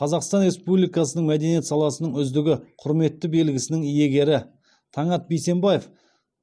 қазақстан республикасының мәдениет саласының үздігі құрметті белгісінің иегері таңат бейсенбаев